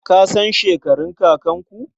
Ka san shekarun kakanku?